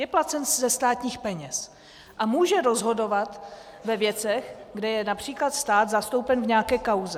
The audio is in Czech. Je placen ze státních peněz a může rozhodovat ve věcech, kde je například stát zastoupen v nějaké kauze.